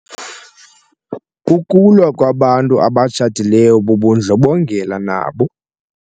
Ukulwa kwabantu abatshatileyo bubundlobongela nabo.